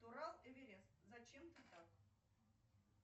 турал эверест зачем ты так